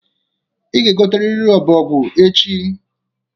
ị ga-egoteriri Ọbọgwụ echi